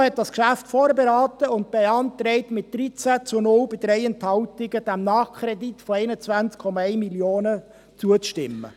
Die FiKo hat das Geschäft vorberaten und beantragt mit 13 zu 0 Stimmen bei 3 Enthaltungen, dem Nachkredit von 21,1 Mio. Franken zuzustimmen.